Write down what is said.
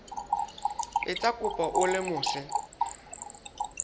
etsa kopo o le mose